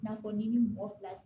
I n'a fɔ n'i ni mɔgɔ fila